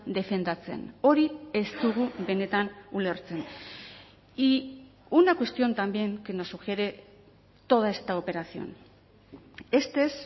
defendatzen hori ez dugu benetan ulertzen y una cuestión también que nos sugiere toda esta operación este es